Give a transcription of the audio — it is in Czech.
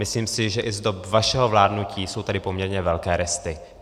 Myslím si, že i z dob vašeho vládnutí jsou tady poměrně velké resty.